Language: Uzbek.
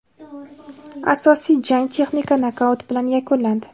Asosiy jang texnik nokaut bilan yakunlandi.